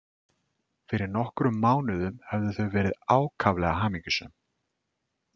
Fyrir nokkrum mánuðum höfðu þau verið ákaflega hamingjusöm.